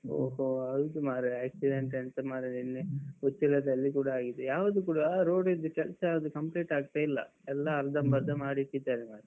ಹೊ ಹೊ ಹೌದು ಮಾರ್ರೆ. accident ಎಂತ ಮಾರ್ರೆ ನಿನ್ನೆ ಉಚ್ಚಿಲದಲ್ಲಿ ಕೂಡ ಆಗಿದೆ. ಯಾವ್ದು ಕೂಡ ರೋಡಿದ್ದು ಕೆಲ್ಸ ಯಾವ್ದು complete ಆಗ್ತಾ ಇಲ್ಲ ಎಲ್ಲ. ಅರ್ಧಂಬರ್ದ. ಮಾಡಿ ಇಟ್ಟಿದ್ದಾರೆ ಮಾರ್ರೆ.